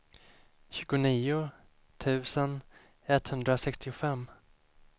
tjugonio tusen etthundrasextiofem